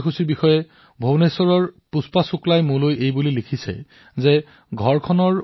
মোলৈ ভূৱনেশ্বৰৰ পুষ্পা শুক্লাজীয়ে টীকাকৰণ কাৰ্যসূচীৰ ছবিৰ বিষয়ে লিখিছে